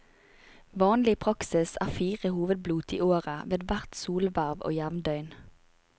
Vanlig praksis er fire hovedblot i året, ved hvert solverv og jevndøgn.